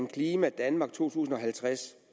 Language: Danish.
klimadanmark to tusind og halvtreds